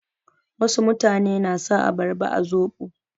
Wasu mutane na sa abarba a soɓo.